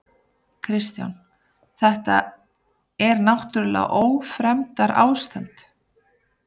Kristján: Þetta er náttúrlega ófremdarástand?